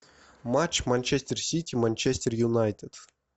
матч манчестер сити манчестер юнайтед